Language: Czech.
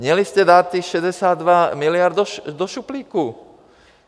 Měli jste dát těch 62 miliard do šuplíku.